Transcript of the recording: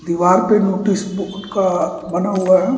दीवार पे notice board का बना हुआ है।